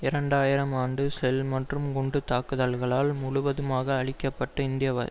இரண்டு ஆயிரம் ஆண்டு ஷெல் மற்றும் குண்டு தாக்குதல்களால் முழுவதுமாக அழிக்க பட்ட இந்த